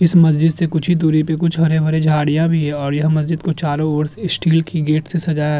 इस मस्जिद से कुछ ही दूरी पे कुछ हरे भरे झाड़ियां भी हैं और यह मस्जिद को चारों ओर से स्टील की गेट से सजा --